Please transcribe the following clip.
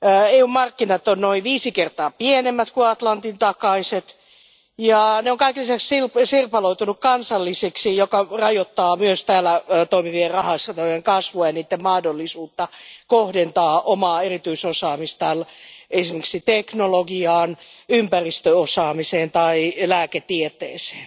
EUn markkinat ovat noin viisi kertaa pienemmät kuin Atlantin takaiset, ja ne ovat kaiken lisäksi sirpaloituneet kansallisiksi, mikä rajoittaa myös täällä toimivien rahastojen kasvua ja niiden mahdollisuutta kohdentaa omaa erityisosaamistaan esimerkiksi teknologiaan, ympäristöosaamiseen tai lääketieteeseen.